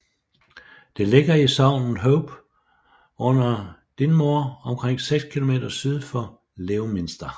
Det ligger i sognet Hope under Dinmore omkring 6 km syd for Leominster